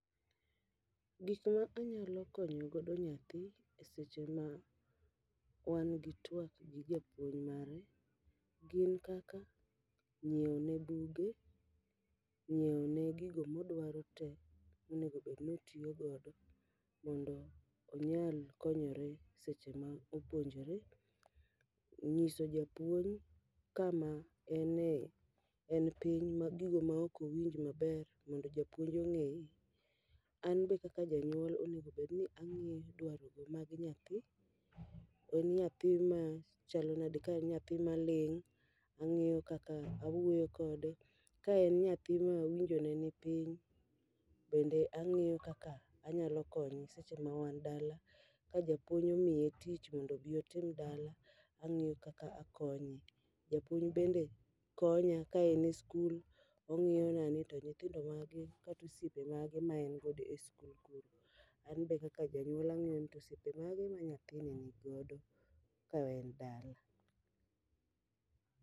Gik ma anyalo konyo godo nyathi e seche ma wan gi tuak gi japuonj mare, gin kaka nyiewo ne buge, nyiewo ne gigo modwaro te monego bed notiyo godo. Mondo onyal konyore seche ma opuonjore, nyiso japuonj kama ene en piny ma gigo ma ok owinj maber mondo japuonj ong'e. An be kaka janyuol onegobedni ang'e dwarogo mag nyathi, en nyathi ma chalo nade? Ka en nyathi ma ling', ang'iyo kaka awuoyo kode. Ka en nyathi ma winjo ne ni piny, bende ang'iyo kaka anyalo konye seche ma wan dala. Ka japuonj omiye tich mondo obi otim dala, ang'iyo kaka akonye. Japuony bende konya ka ene skul, ong'iyo na ni top nyithindo mage kata osiepe mage maen godo e skul kuro. An be kaka janyuol ang'iyo ni to osiepe mage ma nyathini nigodo ka en dala.